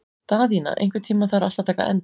Daðína, einhvern tímann þarf allt að taka enda.